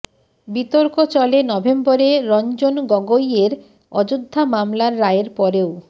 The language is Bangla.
বিতর্ক চলে নভেম্বরে রঞ্জন গগৈয়ের অযোধ্যা মামলার রায়ের পরেও